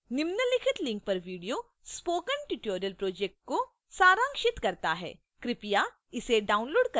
निम्नलिखित link पर video spoken tutorial project को सारांशित करता है कृपया इसे download करें और देखें